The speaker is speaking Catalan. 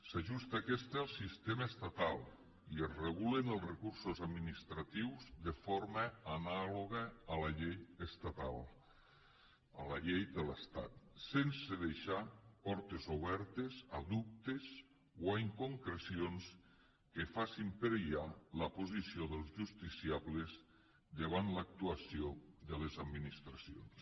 s’ajusta aquesta al sistema estatal i es regulen els recursos administratius de forma anàloga a la llei estatal a la llei de l’estat sense deixar portes obertes a dubtes o a inconcrecions que facin perillar la posició dels justiciables davant l’actuació de les administracions